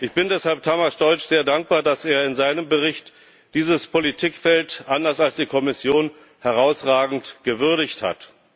Ich bin deshalb Tamás Deutsch sehr dankbar, dass er in seinem Bericht dieses Politikfeld anders als die Kommission herausragend gewürdigt hat.